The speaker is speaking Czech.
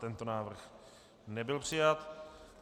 Tento návrh nebyl přijat.